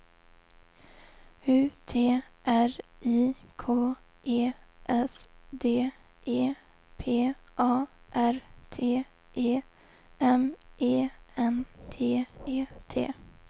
U T R I K E S D E P A R T E M E N T E T